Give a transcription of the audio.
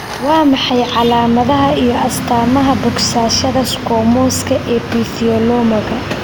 Waa maxay calaamadaha iyo astaamaha bogsashada squamouska epitheliomaga?